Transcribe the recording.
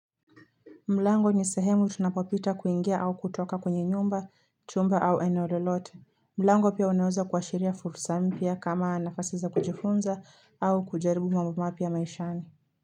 Mlango ni sehemu tunapopita kuingia au kutoka kwenye nyumba, chumba au eneo lolote. Mlango pia unaweza kuashiria fursa mpya kama nafasi za kujifunza au kujaribu mambo mapya maishani.